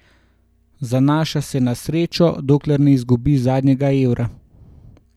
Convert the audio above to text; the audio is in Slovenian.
Zanaša se na srečo, dokler ne izgubi zadnjega evra.